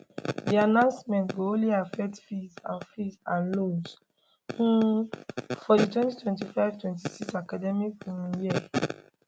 di announcement go only affect fees and fees and loans um for di 202526 academic um year